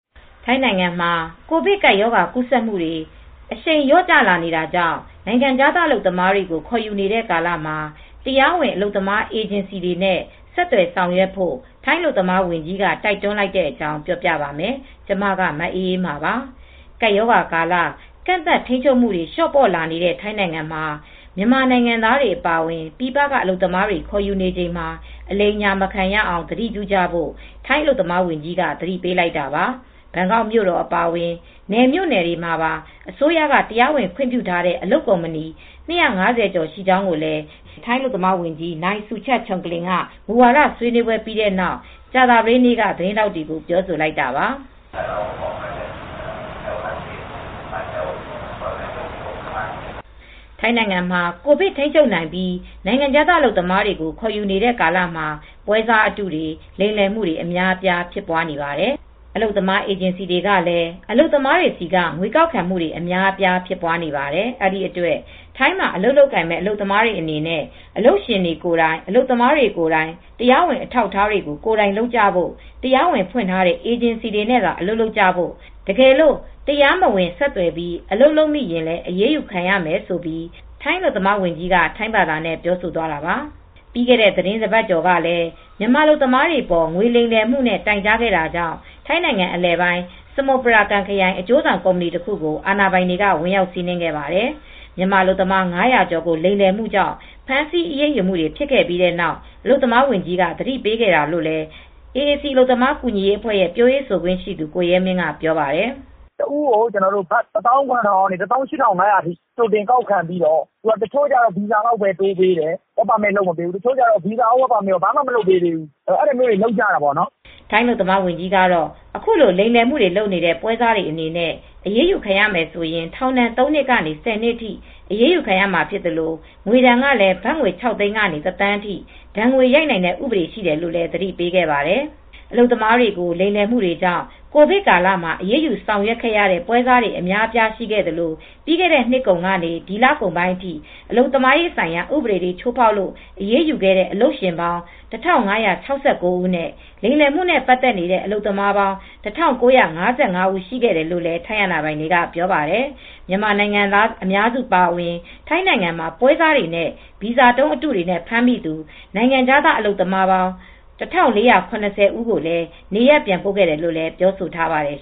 ထိုင်းနိုင်ငံမှာ ကိုဗစ်ကပ်ရောဂါ ကူးစက်မှုတွေ အရှိန်လျော့လာနေတာကြောင့် နိုင်ငံခြားသား အလုပ်သမားတွေကို ခေါ်ယူနေတဲ့ကာလမှာ တရားဝင် အလုပ်သမားအေဂျင်စီတွေနဲ့ ဆက်သွယ်ဆောင်ရွက်ဖို့ ထိုင်းအလုပ်သမားဝန်ကြီးက တိုက်တွန်းလိုက်တဲ့အကြောင်း ပြောပြပါမယ်။ ဗွီအိုအေမြန်မာပိုင်းသတင်းထောက် မအေးအေးမာက ထိုင်း မြန်မာနယ်စပ်ကနေ သတင်းပေးပို့ထားပါတယ်။ ကပ်ရောဂါကာလ ကန့်သတ်ထိန်းချုပ်မှုတွေ လျော့ပေါ့လာနေတဲ့ ထိုင်းနိုင်ငံမှာ မြန်မာနိုင်ငံသားတွေ အပါအဝင် ပြည်ပက အလုပ်သမားတွေ ခေါ်ယူနေချိန်မှာ အလိမ်အညာ မခံရအောင် သတိပြုကြဖို့ ထိုင်းအလုပ်သမားဝန်ကြီးက သတိပေးလိုက်တာပါ။ ဘန်ကောက်မြို့တော် အပါအဝင် နယ်မြို့နယ်တွေမှာပါ အစိုးရက တရားဝင်ခွင့်ပြုထားတဲ့ အလုပ်ကုမ္ပဏီ ၂၅၀ ကျော်ရှိကြောင်းလည်း ထိုင်းအလုပ်သမားဝန်ကြီး နိုင်စူချာတ်ချုံကလင် က အလုပ်သမားသစ်ခေါ်ယူရေး မူဝါဒဆွေးနွေးပွဲပြီးတဲ့နောက် ကြာသပတေးနေ့က သတင်းထောက်တွေကို ပြောဆိုလိုက်တာပါ။ "ထိုင်းနိုင်ငံမှာ ကိုဗစ်ထိန်းချုပ်နိုင်ပြီး နိုင်ငံခြားသားအလုပ်သမားတွေ ခေါ်ယူနေတဲ့ကာလမှာ ပွဲစားအတုတွေ လိမ်လည်မှုတွေ အများအပြားဖြစ်နေပါတယ်။ အလုပ်သမားအေဂျင်စီတွေကလည်း အလုပ်သမားတွေဆီက ငွေကောက်ခံမှုတွေ အများအပြားဖြစ်ပွားနေတယ်။ အဲဒီအတွက် ထိုင်းမှာ အလုပ်လုပ်ကိုင်မဲ့ အလုပ်သမားတွေအနေနဲ့ အလုပ်ရှင်ကိုယ်တိုင် အလုပ်သမားကိုယ်တိုင် တရားဝင်တွေ အထောက်အထားတွေကို ကိုယ်တိုင်လုပ်ကြဖို့၊ တရားဝင်ဖွင့်ထားတဲ့ အေဂျင်စီတွေနဲ့သာ အလုပ်လုပ်ကြဖို့ တကယ်လို့ တရားမဝင် ဆက်သွယ်ပြီး အလုပ်လုပ်မိရင်လည်း အရေးယူခံရမယ်။" ဆိုပြီး အလုပ်သမားဝန်ကြီးက ထိုင်းဘာသာနဲ့ ပြောဆိုသွားတာပါ။ ပြီးခဲ့တဲ့ သီတင်းတပတ်ကျော်ကလည်း မြန်မာအလုပ်သမားတွေအပေါ် ငွေလိမ်လည်မှုနဲ့ တိုင်ကြားခဲ့တာကြောင့် ထိုင်းနိုင်ငံ အလယ်ပိုင်း စမုပရာကမ်ခရိုင်က အကျိုးဆောင်ကုမ္ပဏီတခုကို အာဏာပိုင်တွေက ဝင်ရောက်စီးနင်းခဲ့ပါတယ်။ မြန်မာအလုပ်သမား ၅၀၀ ကျော်ကို လိမ်လည်မှုကြောင့် ဖမ်းဆီးအရေးယူမှုတွေ ဖြစ်ခဲ့ပြီးနောက် အလုပ်သမားဝန်ကြီးက သတိပေးခဲ့တာလို့လည်း AAC အလုပ်သမား ကူညီရေးအဖွဲရဲ့ပြောခွင့်ရှိသူ ကိုရဲမင်းက ပြောပါတယ်။ "တဦးကို ဘတ်ငွေ ၁၇,၀၀၀ ကနေ ၁၈,၅၀၀ လောက်ထိ ကြိုတင်ကောက်ခံပြီးတော့ တချို့ကျတော့ ဗီဇာလောက်ပဲ တိုးပေးတယ်။ work permit မလုပ်ပေးဘူး။ တချို့ကတော့ ဘာမှကို လုပ်မပေးဘူး။ အဲဒါမျိုးတွေ လုပ်ကြတာပေါ့နော်။" ထိုင်းအလုပ်သမားဝန်ကြီးကတော့ အခုလို လိမ်လည်မှုတွေ လုပ်နေတဲ့ ပွဲစားတွေအနေနဲ့ အရေးယူခံရမယ်ဆိုရင် ထောင်ဒဏ် ၃ နှစ်ကနေ ၁၀ နှစ်အထိ အရေးယူခံရမှာဖြစ်သလို့ ငွေဒဏ်ကလည်း ဘတ် ၆၀၀,၀၀၀ ကနေ ၁,၀၀၀,၀၀၀ အထိ ဒဏ်ငွေရိုက်နိုင်တဲ့ ဥပဒေရှိတယ်လို့လည်း သတိပေးခဲ့ပါတယ်။ အလုပ်သမားတွေကို လိမ်လည်မှုတွေကြောင့် ကိုဗစ်ကာလမှာ အရေးယူဆောင်ရွက်ရတဲ့ ပွဲစားတွေအများအပြား ရှိခဲ့သလို ပြီးခဲ့တဲ့နှစ်ကုန်ကနေ ဒီလပိုင်းအထိအလုပ်သမားဆိုင်ရာ ဥပဒေတွေ ချိုးဖောက်လို့ အရေးယူခဲ့တဲ့ အလုပ်ရှင်ပေါင်း ၁,၅၆၉ ဦးနဲ့ လိမ်လည်မှုနဲ့ ပတ်သက်နေတဲ့ အလုပ်သမားပေါင်း ၁,၉၅၅ ဦး ရှိခဲ့တယ်လို့လည်း ထိုင်းအာဏာပိုင်တွေက ပြောပါတယ်။ မြန်မာနိုင်ငံသား အများစုအပါအဝင် ထိုင်းနိုင်ငံမှာ ပွဲစားတွေနဲ့ ဗီဇာတုံးအတုတွေနဲ့ ဖမ်းမိသူနိုင်ငံခြားသားအလုပ်သမား ၁,၄၇၀ ဦး ကိုလည်း နေရပ်ပြန်ပို့ခဲ့တယ်လို့ ပြောဆိုထားပါတယ်